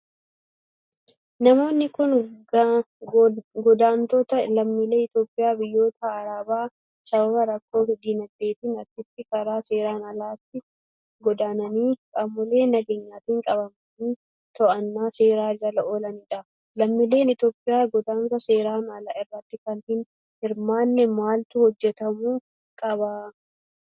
Namoonni kun, godaantota lammiilee Itoophiyaa biyyoota arabaa sababa rakkoo diinagdeetin achitti karaa seeraan alaatin godaananii qaamolee nageenyaatin qabamanii to'annoo seeraa jala oolanii dha. Lammiileen Itoophiyaa, godaansa seeraan alaa irratti akka hin hirmaanne maaltu hojjatamuu qaba?